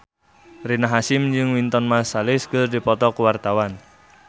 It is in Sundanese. Rina Hasyim jeung Wynton Marsalis keur dipoto ku wartawan